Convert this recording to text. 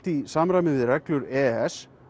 í samræmi við reglur e e s